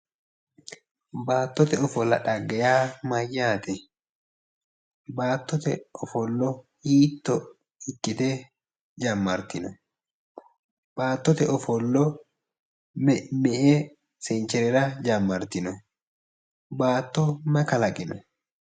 Baattote ofolla xagge yaa mayyaate? Baattote ofollo hiitto ikkite jammartino? Baattote ofollo me"e sencherera jammartino? Baatto mayi kalaqino?